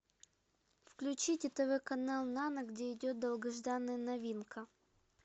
включите тв канал нано где идет долгожданная новинка